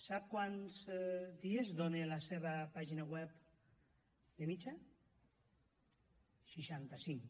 sap quants dies dona la seva pàgina web de mitjana seixanta cinc